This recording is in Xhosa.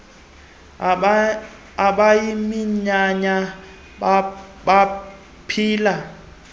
bayiminyanya bap hila